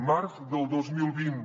març del dos mil vint